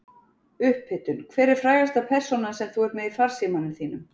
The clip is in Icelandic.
upphitun Hver er frægasta persónan sem þú ert með í farsímanum þínum?